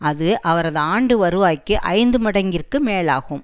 அது அவரது ஆண்டு வருவாய்க்கு ஐந்து மடங்கிற்கு மேலாகும்